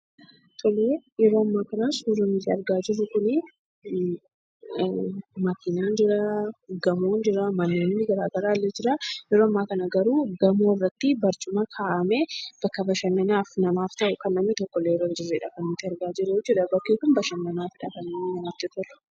Yeroo ammaa kana suurri nuti argaa jirru kuni konkolaataan jira, gamoon jiru, manneen gara garaa illee jiru. Yeroo ammaa kana garuu gamoo irratti barcuma ka'anii bakka bashannanaa namaaf ta'u kan namni tokko illee irra hinjirredha kan nuti arginu jechuudha. Bakki kun bashannanaafidha kan inni namatti tolu.